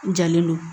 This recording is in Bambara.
N jalen don